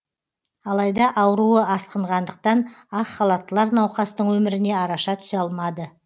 алайда ауруы асқынғандықтан ақ халаттылар науқастың өміріне араша түсе алмады